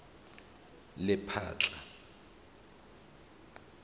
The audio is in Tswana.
lephatla